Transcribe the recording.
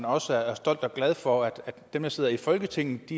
også er stolt af og glad for at dem der sidder i folketinget